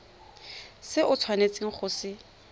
se o tshwanetseng go se